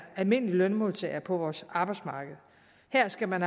almindelig lønmodtager på vores arbejdsmarked her skal man